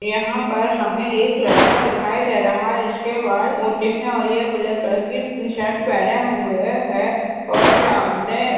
यहाँ पर हमें एक लड़का दिखाई दे रहा है जिसके बाल ऊँचे है और ये ब्लैक कलर की टशर्ट पहने हुए है और सामने।